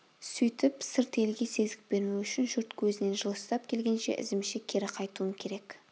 сөйтіп сырт елге сезік бермеу үшін жұрт көзінен жылыстап келген ізімше кері қайтуым керек